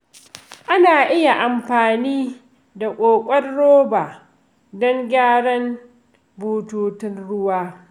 Ana iya amfani da ƙoƙon roba don gyaran bututun ruwa.